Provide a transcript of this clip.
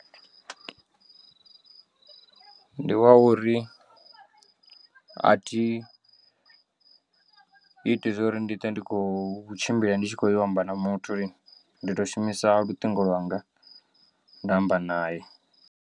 Ndi wa uri a thi iti zwo uri ndi twe ndi khou tshimbila ndi tshi khoyo u amba na muthu ndi to shumisa luṱingo lwanga nda amba nae.